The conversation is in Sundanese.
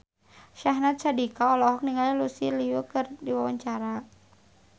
Syahnaz Sadiqah olohok ningali Lucy Liu keur diwawancara